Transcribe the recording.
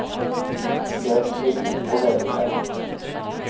Jag är fri och väljer själv.